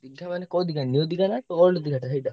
ଦୀର୍ଘା ମାନେ କୋଉ ଦୀର୍ଘା new ଦୀର୍ଘା ନା old ଦୀର୍ଘାଟା ସେଇଟା?